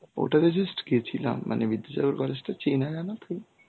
ওটা তে just গেছিলাম. মানে বিদ্যাসাগর college টা চেনা জানা তো